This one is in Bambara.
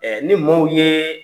ni maaw ye